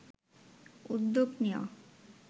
উদ্যোগ নেওয়া